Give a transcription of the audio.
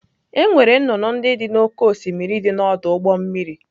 Enwere nnụnụ ndị dị n'oké osimiri dị n'ọdụ ụgbọ mmiri.